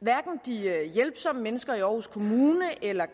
hverken de hjælpsomme mennesker i aarhus kommune eller